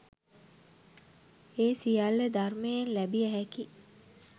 ඒ සියල්ල ධර්මයෙන් ලැබිය හැකි